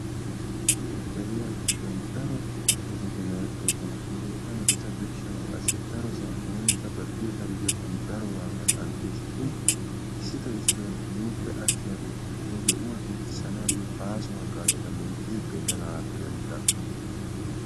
Deriya giddon daro metoti merettoosona, hegeeta metatarsal birshshanawu qassi darossan oonikka ba diyossan diyossan daro waagaa qanxxees shin issito issito nuuppe attiyagee he yohuwa giggissanaayo baaso haggaazatta loyttidi xeelenagappe denddidaagana.